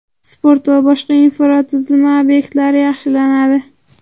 sport va boshqa infratuzilma obyektlari yaxshilanadi.